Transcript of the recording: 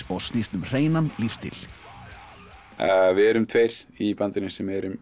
og snýst um hreinan lífstíl við erum tveir í bandinu sem eru